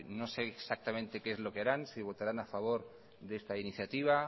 no sé exactamente qué es lo que harán si votarán a favor de esta iniciativa